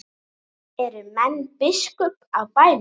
Eru menn biskups á bænum?